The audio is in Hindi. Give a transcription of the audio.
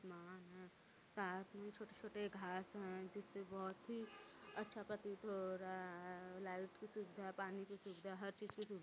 साथ में छोटे-छोटे घास है जिससे बहुत ही अच्छा प्रतीत हो रहा है लाइट सुविधा है पानी की सुविधा है हर चीज की सुविधा है।